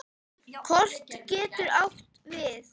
Kort getur átt við